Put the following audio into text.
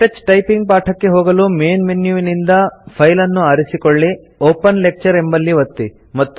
ಕೇಟಚ್ typing ಪಾಠಕ್ಕೆ ಹೋಗಲು main ಮೆನ್ಯುವಿನಿಂದ ಫೈಲ್ ಅನ್ನು ಆರಿಸಿಕೊಳ್ಳಿ ಒಪೆನ್ ಲೆಕ್ಚರ್ ಎಂಬಲ್ಲಿ ಒತ್ತಿ